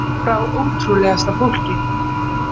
Frá ótrúlegasta fólki.